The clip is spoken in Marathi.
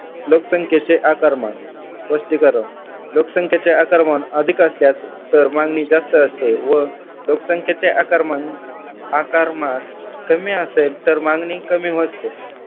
लोकसंख्येचे आकारमान स्पष्टीकरण लोकसंख्येचे आकारमान अधिक असल्यास तर मागणी जास्त असते व लोकसंख्येचे आकारमान आकारमान कमी असेल तर मागणी कमी होते.